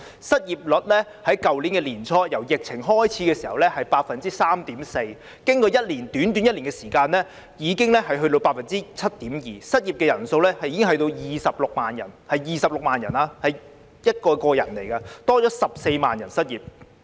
失業率由去年年初疫情開始時的 3.4%， 經過短短1年的時間已經達到 7.2%； 失業人數已達26萬人，是26萬人，他們是一個個人來的，多了14萬人失業。